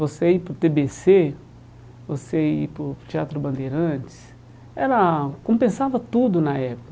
Você ir para o Tê Bê Cê, você ir para o Teatro Bandeirantes, era compensava tudo na época.